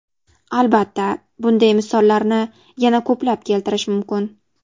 Albatta, bunday misollarni yana ko‘plab keltirish mumkin.